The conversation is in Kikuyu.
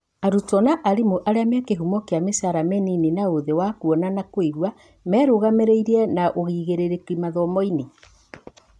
Arutwo na arimu arĩa mekĩhumo kĩa micara mĩnini na ũthĩ wa kuona na kũigua merugamĩtie na ũigĩrĩrĩki mathomo-inĩ ?